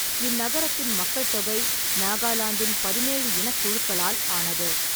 இந்நகரத்தின் மக்கள் தொகை நாகாலாந்தின் பதினேழு இனக்குழுக்களால் ஆனது.